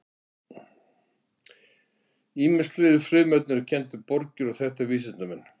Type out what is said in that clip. ýmis fleiri frumefni eru kennd við borgir og þekkta vísindamenn